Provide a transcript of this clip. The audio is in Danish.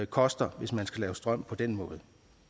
koster hvis man skal lave strøm på den måde